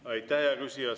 Aitäh, hea küsija!